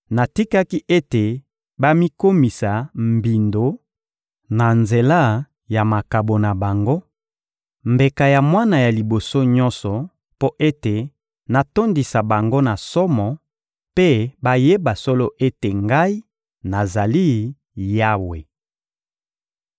natikaki ete bamikomisa mbindo na nzela ya makabo na bango, mbeka ya mwana ya liboso nyonso, mpo ete natondisa bango na somo mpe bayeba solo ete Ngai, nazali Yawe.›